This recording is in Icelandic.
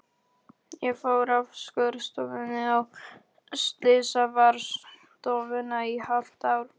Ég fór af skurðstofunni á slysavarðstofuna í hálft ár.